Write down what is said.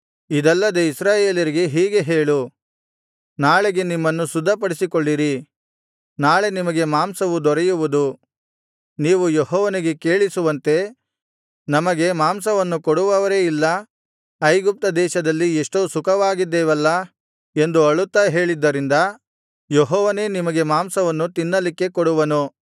ಇದಲ್ಲದೆ ಇಸ್ರಾಯೇಲರಿಗೆ ಹೀಗೆ ಹೇಳು ನಾಳೆಗೆ ನಿಮ್ಮನ್ನು ಶುದ್ಧಪಡಿಸಿಕೊಳ್ಳಿರಿ ನಾಳೆ ನಿಮಗೆ ಮಾಂಸವು ದೊರೆಯುವುದು ನೀವು ಯೆಹೋವನಿಗೆ ಕೇಳಿಸುವಂತೆ ನಮಗೆ ಮಾಂಸವನ್ನು ಕೊಡುವವರೇ ಇಲ್ಲ ಐಗುಪ್ತ ದೇಶದಲ್ಲಿ ಎಷ್ಟೋ ಸುಖವಾಗಿದ್ದೇವಲ್ಲಾ ಎಂದು ಅಳುತ್ತಾ ಹೇಳಿದ್ದರಿಂದ ಯೆಹೋವನೇ ನಿಮಗೆ ಮಾಂಸವನ್ನು ತಿನ್ನಲಿಕ್ಕೆ ಕೊಡುವನು